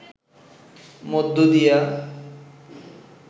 মধ্যে দিয়া